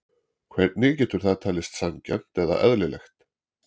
Hvernig getur það talist sanngjarnt eða eðlilegt?